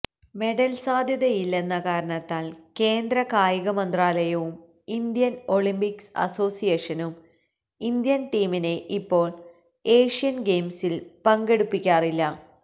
medal സാധ്യതയില്ലെന്ന കാരണത്താൽ കേന്ദ്ര കായികമന്ത്രാലയവും ഇന്ത്യൻ ഒളിംപിക് അസോസിയേഷനും ഇന്ത്യൻ ടീമിനെ ഇപ്പോൾ ഏഷ്യൻ ഗെയിംസിൽ പങ്കെടുപ്പിക്കാറില്ല